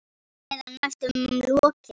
Eða næstum lokið.